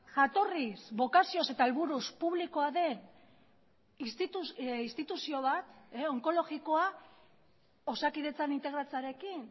jatorriz bokazioz eta helburuz publikoa den instituzio bat onkologikoa osakidetzan integratzearekin